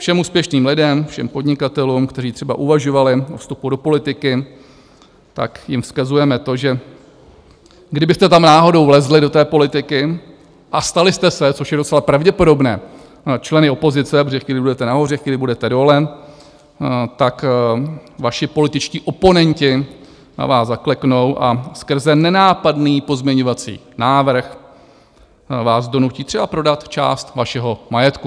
Všem úspěšným lidem, všem podnikatelům, kteří třeba uvažovali o vstupu do politiky, tak jim vzkazujeme to, že kdybyste tam náhodou vlezli, do té politiky, a stali jste se, což je docela pravděpodobné, členy opozice, protože chvíli budete nahoře, chvíli budete dole, tak vaši političtí oponenti na vás zakleknou a skrze nenápadný pozměňovací návrh vás donutí třeba prodat část vašeho majetku.